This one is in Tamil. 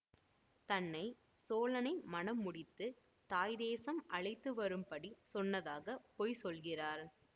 தன்னை சோழனை மணம் முடித்து தாய் தேசம் அழைத்துவரும்படி சொன்னதாக பொய் சொல்கிறார்